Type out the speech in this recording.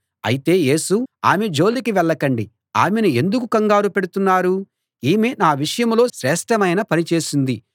అయితే యేసు ఆమె జోలికి వెళ్ళకండి ఆమెను ఎందుకు కంగారు పెడుతున్నారు ఈమె నా విషయంలో శ్రేష్ఠమైన పని చేసింది